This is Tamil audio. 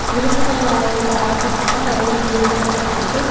இரும்புனால் ஆய ஆக்கப்பட்ட நிறைய இயந்திரங்கள் இருக்கு.